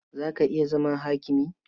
Za ka iya zama hakimi?